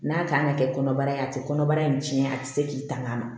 N'a t'an ka kɛ kɔnɔbara ye a tɛ kɔnɔbara in cɛn a tɛ se k'i tanga ma